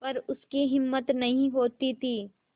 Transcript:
पर उसकी हिम्मत नहीं होती थी